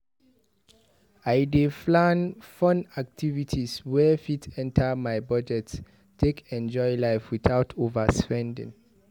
I dey plan fun activities wey fit enter my budget take enjoy life without overspending.